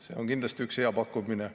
See on kindlasti üks hea pakkumine.